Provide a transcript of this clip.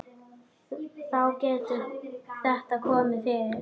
Þá getur þetta komið fyrir.